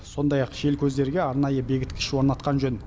сондай ақ желкөздерге арнайы бекіткіш орнатқан жөн